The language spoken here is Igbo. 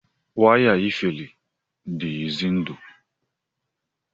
waya iferi dị ize ndụ